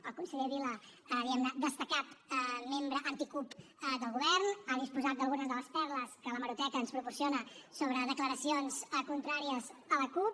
el conseller vila diguem ne destacat membre anti cup del govern ha disposat d’algunes de les perles que l’hemeroteca ens proporciona sobre declaracions contràries a la cup